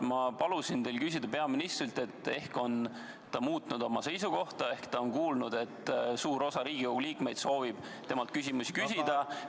Ma palusin teil peaministrilt küsida, kas ta on muutnud oma seisukohta, kui ta on kuulnud, et suur osa Riigikogu liikmeid soovib temalt küsimusi küsida.